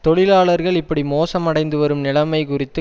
தொழிலாளர்கள் இப்படி மோசம் அடைந்துவரும் நிலமை குறித்து